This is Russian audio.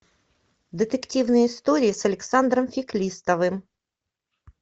детективные истории с александром феклистовым